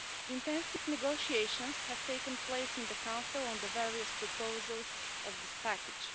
Intensive negotiations have taken place in the Council on the various proposals of this package.